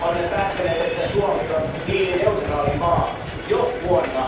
Olemme päättäneet, että Suomi on hiilineutraali maa jo vuonna